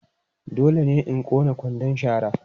Dole ne in ƙone kwandon shara.